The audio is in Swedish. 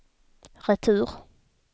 retur